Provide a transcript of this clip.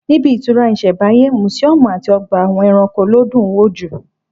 Níbi ìtura isembáyé, mùsíọ̀mù àti ọgbà àwọn ẹranko ló dùn wò jù